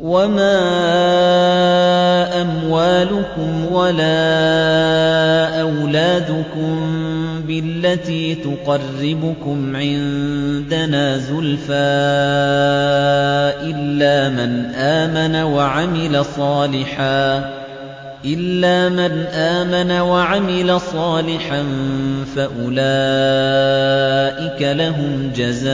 وَمَا أَمْوَالُكُمْ وَلَا أَوْلَادُكُم بِالَّتِي تُقَرِّبُكُمْ عِندَنَا زُلْفَىٰ إِلَّا مَنْ آمَنَ وَعَمِلَ صَالِحًا فَأُولَٰئِكَ لَهُمْ جَزَاءُ